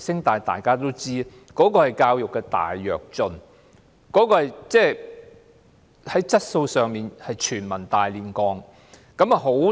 大家都知道，這是教育的"大躍進"，這是教育質素的全民"大煉鋼"。